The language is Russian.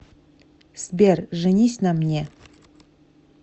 сбер женись на мне